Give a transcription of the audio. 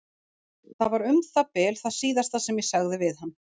Það var um það bil það síðasta sem ég sagði við hann.